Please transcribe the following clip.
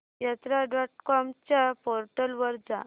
यात्रा dot com च्या portal वर जा